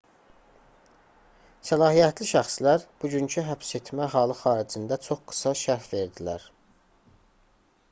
səlahiyyətli şəxslər bugünkü həbsetmə halı xaricində çox qısa şərh verdilər